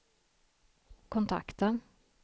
kontakta